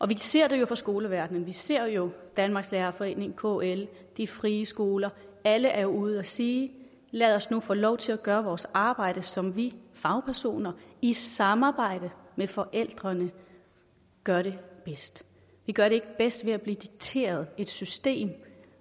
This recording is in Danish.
vi ser det jo fra skoleverdenen vi ser jo danmarks lærerforening kl de frie skoler alle er ude at sige lad os nu få lov til at gøre vores arbejde som vi fagpersoner i samarbejde med forældrene gør det bedst vi gør det ikke bedst ved at blive dikteret et system